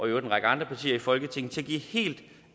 øvrigt en række andre partier i folketinget til at give helt